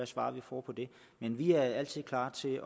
svar vi får på dem men vi er altid klar til